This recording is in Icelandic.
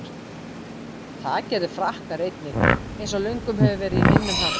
Það gerðu Frakkar einnig, eins og löngum hefur verið í minnum haft.